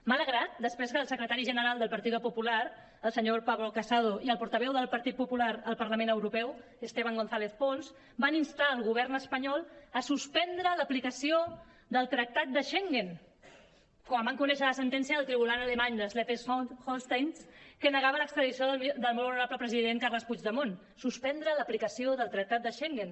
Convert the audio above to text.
m’ha alegrat després que el secretari general del partido popular el senyor pablo casado i el portaveu del partit popular al parlament europeu esteban gonzález pons van instar el govern espanyol a suspendre l’aplicació del tractat de schengen quan van conèixer la sentència del tribunal alemany de slesvig holstein que negava l’extradició del molt honorable president carles puigdemont suspendre l’aplicació del tractat de schengen